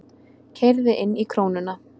Keyrði inn í Krónuna